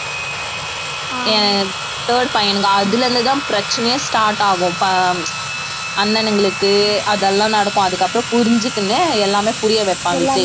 அஹ் third பையனுக்கு அதுல இருந்துதான் பிரச்சனையே start ஆகும் ப~ அண்ணனுங்களுக்கு அதெல்லாம் நடக்கும் அதுக்கு அப்புறம் புரிஞ்சுக்கின்னு எல்லாமே புரிய வைப்பான் விஜய்